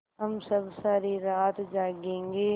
हम सब सारी रात जागेंगे